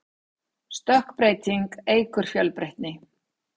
stökkbreyting eykur fjölbreytni